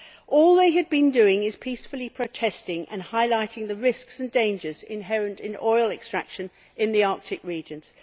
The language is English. All they had been doing is peacefully protesting and highlighting the risks and dangers inherent in oil extraction in the Arctic regions.